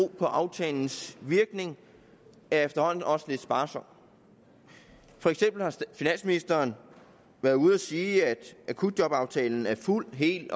på aftalens virkning er efterhånden også lidt sparsom for eksempel har finansministeren været ude at sige at akutjobaftalen er fuldt helt